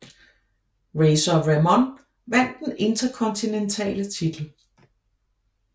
Razor Ramon vandt den interkontinentale titel